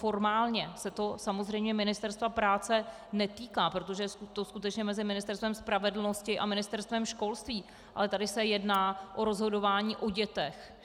Formálně se to samozřejmě Ministerstva práce netýká, protože je to skutečně mezi Ministerstvem spravedlnosti a Ministerstvem školství, ale tady se jedná o rozhodování o dětech.